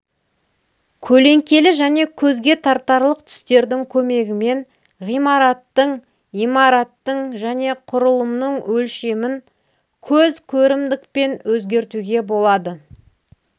көлеңкелі және көзге тартарлық түстердің көмегімен ғимараттың имараттың және құрылымның өлшемін көз көрімдікпен өзгертуге болады